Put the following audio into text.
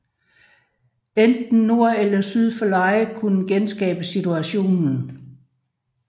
Enten nord eller syd for Leie kunne genskabe situationen